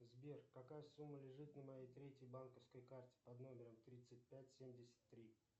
сбер какая сумма лежит на моей третьей банковской карте под номером тридцать пять семьдесят три